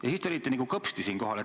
Ja siis te olite nagu kõpsti siin kohal.